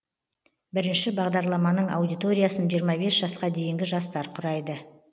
бірінші бағдарламаның аудиториясын жиырма бес жасқа дейінгі жастар құрайды